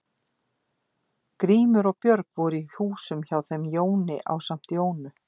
Grímur og Björg voru í húsum hjá þeim Jóni ásamt Jónu